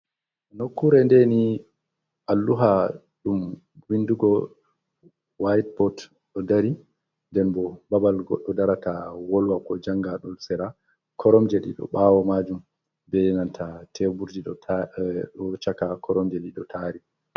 Nokkure ndeni alluha dum bindugo whiteboat, do dari nden bo babal goddo darata wolwako janga dol sera koromje dido bawo majum benanta teburji do chaka koromje dido tari.